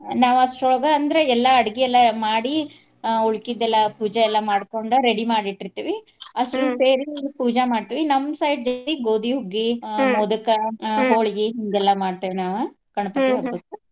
ನಾವ್ ಅಷ್ಟರೊಳಗ ಅಂದ್ರೆ ಎಲ್ಲಾ ಅಡ್ಗಿ ಎಲ್ಲಾ ಮಾಡಿ ಆ ಉಳ್ಕಿದ್ದೆಲ್ಲಾ ಪೂಜಾ ಎಲ್ಲಾ ಮಾಡ್ಕೊಂಡ ready ಮಾಡಿ ಇಟ್ಟಿರ್ತಿವಿ ಪೂಜಾ ಮಾಡ್ತೀವಿ. ನಮ್ಮ್ side ಜಾಸ್ತಿ ಗೋಧಿಹುಗ್ಗಿ ಮೊದಕಾ ಹಿಂಗೆಲ್ಲಾ ಮಾಡ್ತೇವ್ ನಾವ್ ಹಬ್ಬಕ್ಕ.